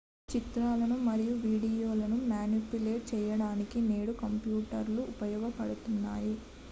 చిత్రాలు మరియు వీడియోలను మానిప్యులేట్ చేయడానికి నేడు కంప్యూటర్ లు ఉపయోగించబడుతున్నాయి